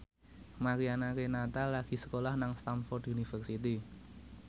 Mariana Renata lagi sekolah nang Stamford University